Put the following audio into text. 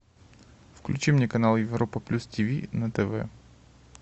включи мне канал европа плюс тиви на тв